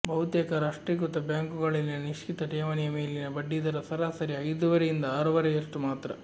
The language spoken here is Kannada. ಬಹುತೇಕ ರಾಷ್ಟ್ರೀಕೃತ ಬ್ಯಾಂಕುಗಳಲ್ಲಿನ ನಿಶ್ಚಿತ ಠೇವಣಿಯ ಮೇಲಿನ ಬಡ್ಡಿದರ ಸರಾಸರಿ ಐದೂವರೆಯಿಂದ ಆರೂವರೆಯಷ್ಟು ಮಾತ್ರ